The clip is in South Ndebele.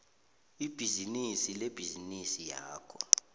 ibhizinisi lebhizinisi yakho